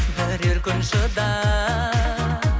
бірер күн шыдап